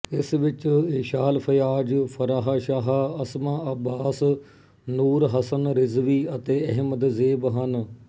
ਇਸ ਵਿੱਚ ਏਸ਼ਾਲ ਫਯਾਜ਼ ਫਾਰਾਹ ਸ਼ਾਹ ਅਸਮਾ ਅੱਬਾਸ ਨੂਰ ਹਸਨ ਰਿਜ਼ਵੀ ਅਤੇ ਅਹਿਮਦ ਜ਼ੇਬ ਹਨ